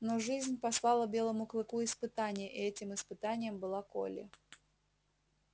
но жизнь послала белому клыку испытание этим испытанием была колли